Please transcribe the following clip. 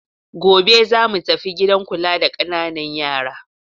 Gobe za mu tafi gidan kula da ƙananan yara.